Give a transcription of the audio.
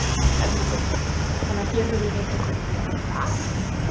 Erla Björg: Þannig að hér verður heitt á könnunni í allan dag?